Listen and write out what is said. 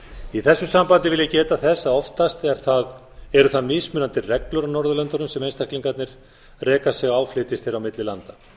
í þessu sambandi vil ég geta þess að oftast eru það mismunandi reglur á norðurlöndunum sem einstaklingarnir reka sig á flytjist þeir milli landa